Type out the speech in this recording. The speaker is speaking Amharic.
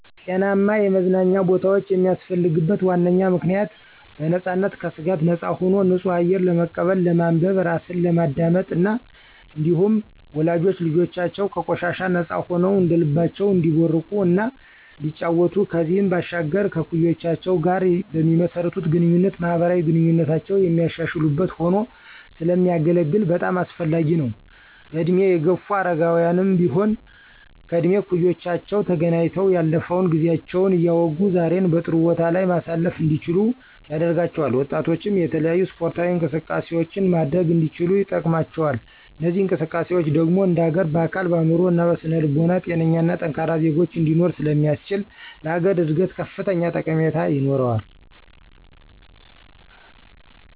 ጤናማ የመዝናኛ ቦታወች የሚያስፈልግበት ዋነኛ ምክንያት .በነፃነትና ከስጋት ነፃ ሆኖ ንፁህ አየር ለመቀበል፣ ለማንበብ፣ ራስን ለማዳመጥ እና እንዲሁም ወላጆች ልጆቻቸው ከቆሻሻ ነፃ ሆነዉ እንደልባቸው እንዲቦርቁ እና እንዲጫወቱ ከዚህም ባሻገር ከእኩዮቻቸው ጋር በሚመሰርቱት ግንኙነት ማህበራዊ ግንኙነታቸውን የሚያሻሽሉበት ሆኖ ስለሚያገለግል በጣም አስፈላጊ ነው። በእድሜ የገፉ አረጋውያንም ቢሆን ከእድሜ እኩዮቻቸው ተገናኝተው ያለፈውን ጊዜያቸውን እያወጉ ዛሬን በጥሩ ቦታ ላይ ማሳለፍ እንዲችሉ ያደርጋቸዋል። ወጣቶችም የተለያዩ ስፖርታዊ እንቅስቃሴዎችን ማድረግ እንዲችሉ ይጠቅማቸዋል። እነዚህ እንቅስቃሴዎች ደግሞ እንደሀገር በአካል፣ በአእምሮ እና በስነ ልቦና ጤነኛና ጠንካራ ዜጎች እንዲኖሮ ስለሚያስችል ለሀገር እድገት ላሀገር እድገት ከፍተኛ ጠቀሜታ ይኖረዋል።